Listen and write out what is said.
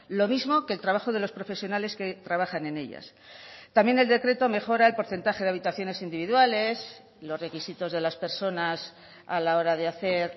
lo mismo que el trabajo de los profesionales que trabajan en ellas también el decreto mejora el porcentaje de habitaciones individuales los requisitos de las personas a la hora de hacer